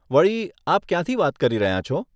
વળી, આપ ક્યાંથી વાત કરી રહ્યાં છો?